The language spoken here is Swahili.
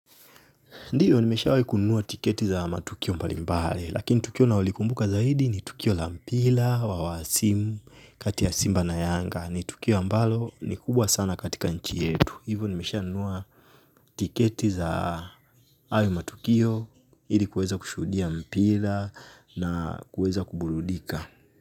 Ndiyo nimeshawahi kununua tiketi za matukio mbalimbali lakini tukio nao likumbuka zaidi ni tukio la mpila wa simu. Kati ya simba na yanga. Ni tukio ambalo ni kubwa sana katika nchi yetu hivyo nimesha nunua tiketi za hayo matukio hili kuweza kushuhudia mpira na kuweza kuburudika.